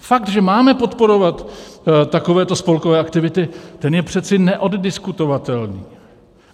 Fakt, že máme podporovat takovéto spolkové aktivity, ten je přece neoddiskutovatelný.